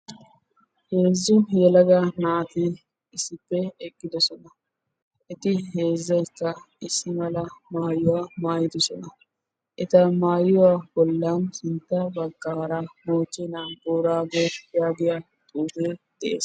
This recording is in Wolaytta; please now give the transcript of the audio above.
Yelaga naati issippe eqqiddosonna etti heezzaykka issi mala maayiwa maayidosonna. Etta maayuwa sintta moochchee naa boorago gonggolluwa giyaage dees.